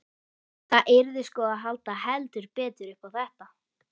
Það yrði sko að halda heldur betur upp á þetta!